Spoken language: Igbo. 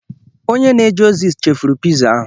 Onye na-eje ozi chefuru piza ahụ.